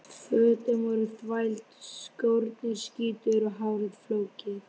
Fötin voru þvæld, skórnir skítugir og hárið flókið.